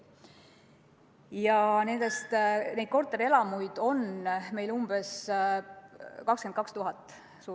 Ja neid korterelamuid on meil umbes 22 000.